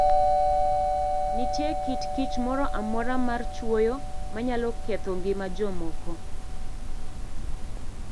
Nitie kit kich moro amora mar chwoyo ma nyalo ketho ngima jomoko.